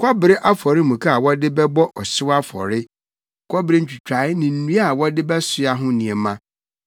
kɔbere Afɔremuka a wɔde bɛbɔ ɔhyew afɔre, kɔbere ntwitae ne nnua a wɔde bɛsoa ho nneɛma,